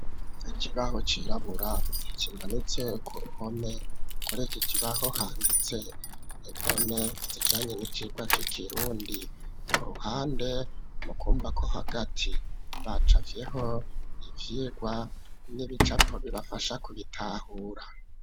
Ikibaho cirabura kimanitse ku ruhome kuri ikikibaho handitse indone zijanye n'icirwa c'ikirundi, ku ruhande mu kumbako hagati bacafyeho ivyigwa n'ibicapo bibafasha kubitahura.